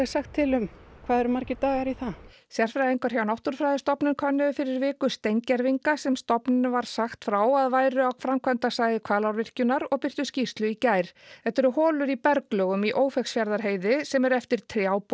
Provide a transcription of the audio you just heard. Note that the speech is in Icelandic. sagt til um hvað eru margir dagar í það sérfræðingar hjá Náttúrufræðistofnun könnuðu fyrir viku steingervinga sem stofnuninni var sagt frá að væru á framkvæmdasvæði Hvalárvirkjunar og birtu skýrslu í gær þetta eru holur í berglögum í Ófeigsfjarðarheiði sem eru eftir